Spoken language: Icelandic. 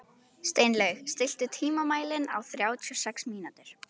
Steinlaug, stilltu tímamælinn á þrjátíu og sex mínútur.